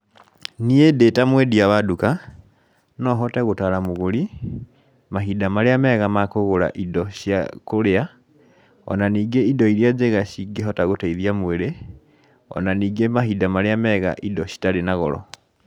Niĩ ndĩ ta mwendia wa duka nohote gũtara mũgũri, mahinda marĩa mega ma kũgũra indo cia kũrĩa, ona ningĩ indo iria njega cingĩhota gũteithia mwĩrĩ, ona ningĩ mahinda marĩa mega indo citarĩ na goro.